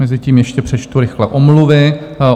Mezitím ještě přečtu rychle omluvy.